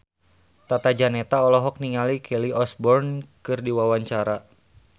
Tata Janeta olohok ningali Kelly Osbourne keur diwawancara